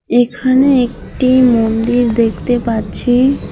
এখানে একটি মন্দির দেখতে পাচ্ছি।